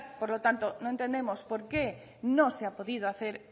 por lo tanto no entendemos por qué no se ha podido hacer